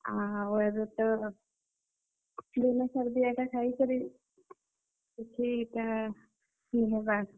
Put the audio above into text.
ଆଉ, ଏଭେ ତ, ବିନା ସାର୍ ଦିଆଟା ଖାଇକରି, କିଛି ଇଟା ନି ହେବାର୍।